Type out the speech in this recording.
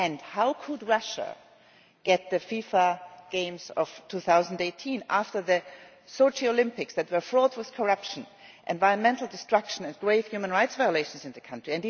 How could Russia get the FIFA games of 2018 after the Sochi Olympics that were fraught with corruption, environmental destruction and grave human rights violations in the country?